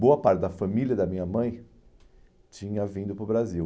Boa parte da família da minha mãe tinha vindo para o Brasil.